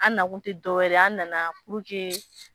An na kun tɛ dɔ wɛrɛ ye an nana